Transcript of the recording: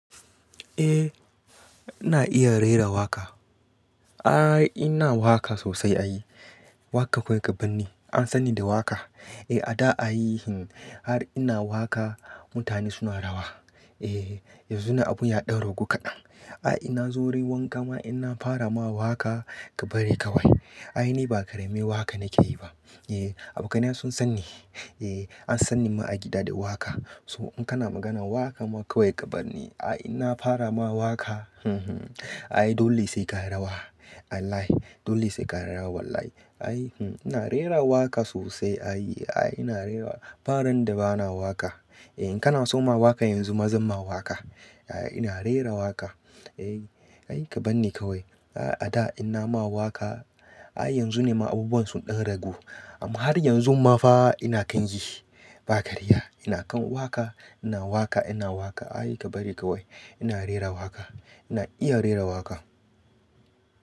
Eh ina iya rera waƙa. Ai ina waƙa sosai ai. Waƙa kawai ka barni. An sani da waƙa. A da a yi hin har ina waƙa mutane suna rawa. Eh yanzu na abun ya ɗan ragu kaɗan. Ai inna zo wurin wanka ma inna fara ma waƙa ka bari ka wai. Ai ni ba ƙarami waƙa nake yi ba. Eh, abokaina sun sani. Eh an sani ma a gida da waƙa. So in kana maganan waƙa ma kawai ka barni. Ai inna fara ma waƙa. Ai dole sai ka yi rawa. Ai lai dole sai ka yi rawa wallahi. Ai ina rera waƙa sosai ai. Ai ina rera waƙa. Aran da ba na waƙa. E In kana so ma waƙa yanzu ma zan ma waƙa. Ina rera waƙa. Ai ka barni ka wai. A da inna ma waƙa. Ai yanzu nema abubuwan sun ɗan ragu. Amma har yanzu ma fa ina kan yi ba ƙarya. Ina kan waƙa, ina waƙa, ina waƙa. Ai ka bari ka wai. Ina rera waƙa. Ina iya rera waƙa.